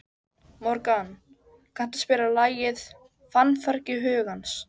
Morgan, kanntu að spila lagið „Fannfergi hugans“?